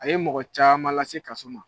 A ye mɔgɔ caman lase kaso ma.